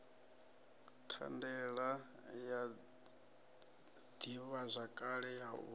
thandela ya ḓivhazwakale ya u